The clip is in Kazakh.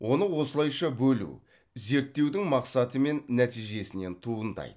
оны осылайша бөлу зерттеудің мақсаты мен нәтижесінен туындайды